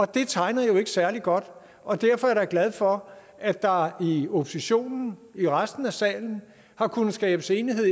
det tegner jo ikke særlig godt og derfor er jeg da glad for at der i oppositionen i resten af salen har kunnet skabes enighed